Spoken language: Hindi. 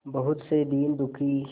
बहुत से दीन दुखी